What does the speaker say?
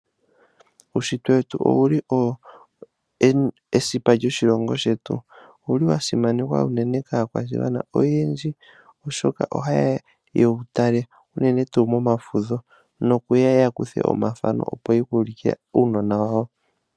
Uushitwe wetu owuli owo esipa lyoshilongo shetu, owuli wa simanekwa unene kaakwashigwana oyendji oshoka ohaye ya yewu tale uunene tuu momafudho nokuya yakuthe omathano opo ye kuulukile uunona wawo.